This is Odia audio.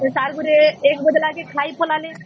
ସେ sir କୁରି ୧ ବାଜେ ଲକେ ଖାଇ କଲା ସେ